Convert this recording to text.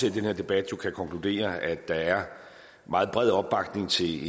i den her debat jo kan konkludere at der er meget bred opbakning til